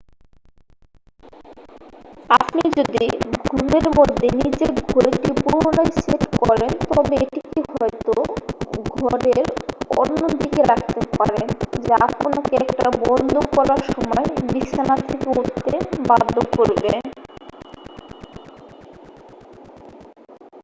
আপনি যদি ঘুমের মধ্যে নিজে ঘড়িটি পুনরায় সেট করেন তবে এটিকে হয়ত ঘরের অন্যদিকে রাখতে পারেন যা আপনাকে এটা বন্ধ করার সময় বিছানা থেকে উঠতে বাধ্য করবে